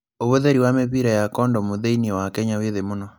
Uvuthĩri wa mĩvira ya kondomu thĩiniĩ wa Kenya wĩ thĩ mũno